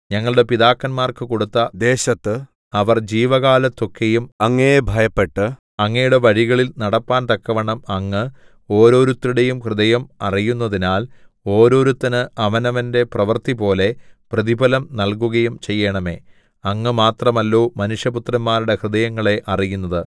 ഞങ്ങളുടെ പിതാക്കന്മാർക്കു കൊടുത്ത ദേശത്ത് അവർ ജീവകാലത്തൊക്കെയും അങ്ങയെ ഭയപ്പെട്ട് അങ്ങയുടെ വഴികളിൽ നടപ്പാൻ തക്കവണ്ണം അങ്ങ് ഓരോരുത്തരുടേയും ഹൃദയം അറിയുന്നതിനാൽ ഓരോരുത്തന് അവനവന്റെ പ്രവൃത്തിപോലെ പ്രതിഫലം നല്കുകയും ചെയ്യേണമേ അങ്ങ് മാത്രമല്ലോ മനുഷ്യപുത്രന്മാരുടെ ഹൃദയങ്ങളെ അറിയുന്നത്